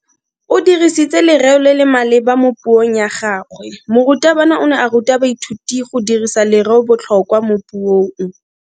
O dirisitse lereo le le maleba mo puong ya gagwe. Morutabana o ne a ruta baithuti go dirisa lereobotlhokwa mo puong.